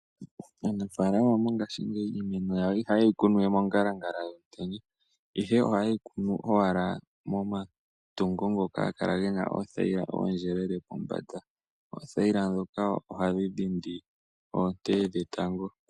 Aanafalama mongashi ngeyi iimeno yawo ihayi kunwa we mongalala yomutenya ihe ohayi kunwa owala moma tungo ngoka gena oothayila ndhoka ooyelele pombanda. Oothayila ndhoka ohadhi keelele onte dhetango.